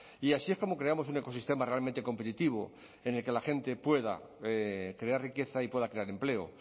y así es como creamos un ecosistema realmente competitivo en el que la gente pueda crear riqueza y pueda crear empleo